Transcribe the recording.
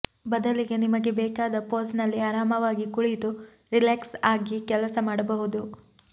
ಬದಲಿಗೆ ನಿಮಗೆ ಬೇಕಾದ ಫೋಸ್ ನಲ್ಲಿ ಆರಾಮವಾಗಿ ಕುಳಿತು ರಿಲಾಕ್ಸ್ ಆಗಿ ಕೆಲಸ ಮಾಡಬಹುದು